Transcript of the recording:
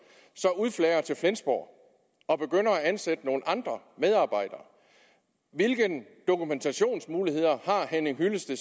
så udflager til flensborg og begynder at ansætte nogle andre medarbejdere hvilke muligheder har henning hyllested